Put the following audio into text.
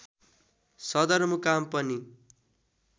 सदरमुकाम पनि